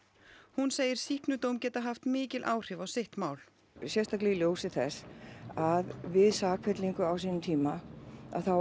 hún segir sýknudóm geta haft mikil áhrif á sitt mál sérstaklega í ljósi þess að við sakfellingu á sínum tíma þá